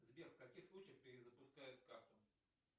сбер в каких случаях перезапускают карту